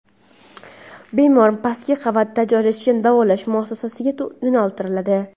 bemor pastki qavatda joylashgan davolash muassasasiga yo‘naltiriladi.